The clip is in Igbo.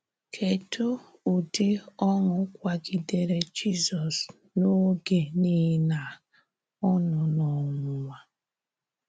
Kedụ ụdị ọṅụ kwagidere Jizọs n'oge niile a, ọ nọ n'ọnwụnwa?